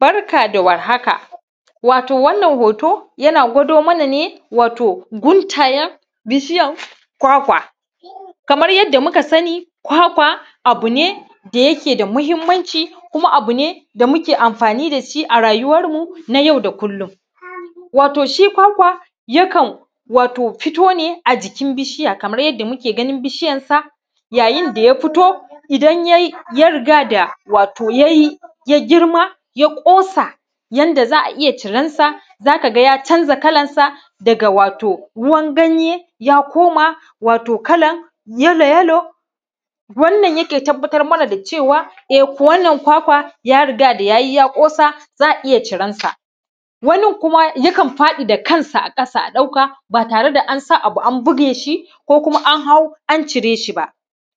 Barka da warhaka wato hoto yana kwadomana ne wato guntayen bishiyan kwakwa kamar yadda muka sani kwakwa abu ne da yeke da matuƙar mahinmanci ƙama wato abu ne da muka amafina da shi a rayuwarmu na yau da kullum wato shi kwakwa yakan wato fito ne a jikin bishiya kama yadda muka gina bishiyarsa a yayin da ya fito idan ye yi ya riga da wato ye yi ya girma ya ƙosa yanda za’iya cira na za ka ga ya canza kalansa ga wato ruwa ganye ya koma wato kalan yalo-yalo wannan yake tabarmana dacewa eh wannan kwakwa yarigaya da ye yi ya ƙosa za a iya ciransa wanin kuma yakan faɗi da kansa a ƙasa a’dauka ba tare da ansa abu an bigeshi ko kuma anhau ancireshi ba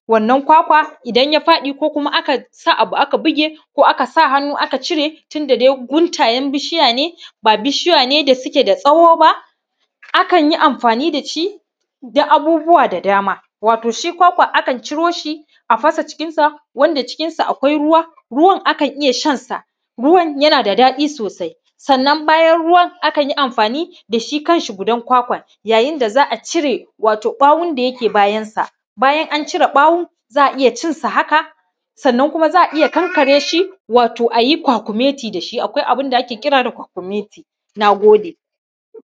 wannan kwakwa idan ya faɗai koya kuma akai sa abu aka buge koya kuma akasa hannu aka cire tunda dai guntayen bishiya ne ba bishiya ne da suke da tsawo ba akan iya amfina da shi da abubbuwa da dama wato shi kwakwa akan iya fasa cikin sa wato cikinsa akwai ruwa ruwan akan iya shan sa ruwan yana da ɗaɗi sosai sanan bayan ruwan akan iya amfaani da shi kanshi gudan kwakwan wanda za a iya cire wato ba wonda yake bayansa bayan ana aka cire bawo za aiya cin sa hankare shi wato a yi kwakumeti da shi akai abun da shi ake kira da kwakumeti. Na gode